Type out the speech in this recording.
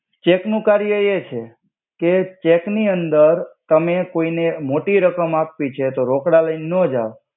Check નુ કર્ય એ છે કે ચેક નિ અંદર તમે કોઇને મોટિ રકમ આપ્વિ છે તો રોકડા લઈને નો જાવ.